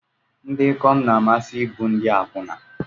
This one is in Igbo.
Ndị ikom na-amasị ịbụ ndị akwụna.